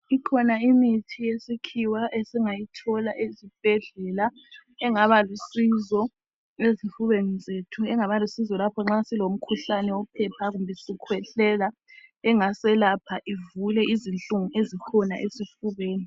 Ikhona imithi yesikhiwa esingayithola ezibhedlela. Engabalusizo ezifubeni zethu. Engabalusizo lapho nxa silomkhuhlane wophepha kumbe sikhwehlela engaselapha ivule izinhlungu ezikhona esifubeni.